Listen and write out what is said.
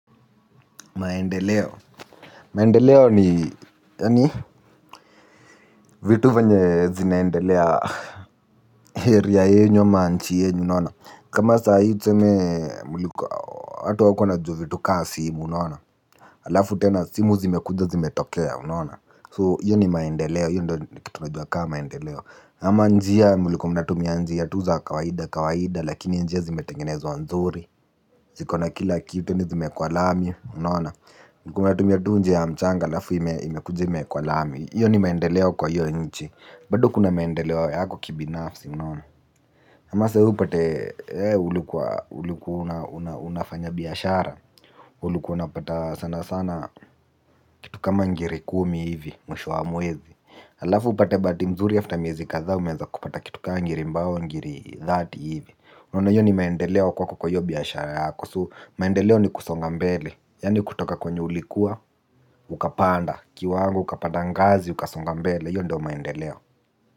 Maendeleo. Maendeleo ni yani, vitu venye zinaendelea area yenyu ama nchi yenyu unaona. Kama saa hii tuseme mulikuwa watu hawakuwa wanajua vitu kaa simu unaona. Alafu tena simu zimekuja zimetokeya unaona. So hiyo ni maendeleo. Hiyo ndo ni kitu najua kaa maendeleo. Ama njia mulikuwa mnatumia njia tu za kawaida kawaida lakini njia zimetengenezwa nzuri. Ziko na kila kitu tena zimeekwa lami unaona. Mlikuwa mnatumia tu njia ya mchanga alafu imekuja imeekwa lami iyo ni maendeleo kwa iyo nchi. Bado kuna maendeleo yako kibinafsi mnaona. Kama saa hii upate wewe ulikuwa, ulikuwa unafanya biashara. Ulikuwa unapata sana sana kitu kama ngiri kumi hivi mwisho wa mwezi. Alafu upate bahati mzuri after miezi kadhaa miezi kupata kitu ka ngiri mbao ngiri dhati hivi. Unaona hiyo ni maendeleo kwako kwa hiyo biashara yako So maendeleo ni kusonga mbele. Yani kutoka kwenye ulikuwa, ukapanda, kiwango, ukapanda ngazi, ukasonga mbele, hiyo ndo maendeleo.